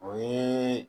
O ye